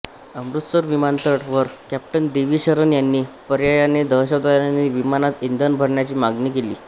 अमृतसर विमानतळावर कॅप्टन देवी शरण यांनी पर्यायाने दहशतवाद्यांनी विमानात इंधन भरण्याची मागणी केली